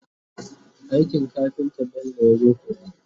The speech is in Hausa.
aikin kafinta Bello yazo koya